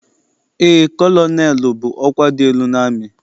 Eé, kọlọnelụ bụ ọkwa dị elu n'amị.